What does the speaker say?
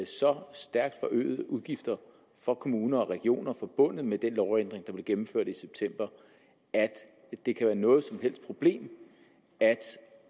så stærkt forøgede udgifter for kommuner og regioner forbundet med den lovændring der blev gennemført i september at det kan være noget som helst problem at